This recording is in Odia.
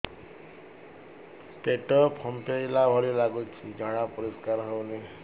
ପେଟ ଫମ୍ପେଇଲା ଭଳି ଲାଗୁଛି ଝାଡା ପରିସ୍କାର ହେଉନି